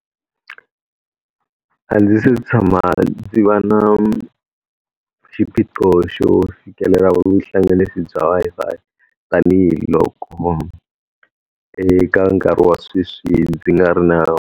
A ndzi se tshama ndzi va na xiphiqo xo fikelela vuhlanganisi bya Wi-Fi, tanihiloko eka nkarhi wa sweswi ndzi nga ri na.